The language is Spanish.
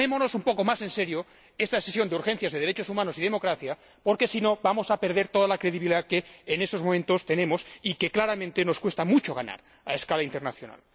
Pero tomémonos un poco más en serio esta sesión de debate sobre violaciones de los derechos humanos y la democracia, porque, si no, vamos a perder toda la credibilidad que en estos momentos tenemos y que, claramente, nos cuesta mucho ganar a escala internacional.